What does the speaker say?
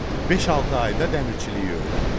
Beş-altı ayda dəmirçiliyi öyrəndim.